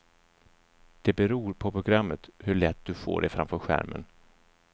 Det beror på programmet hur lätt du får det framför skärmen.